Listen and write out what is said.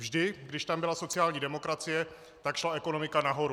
Vždy když tam byla sociální demokracie, tak šla ekonomika nahoru.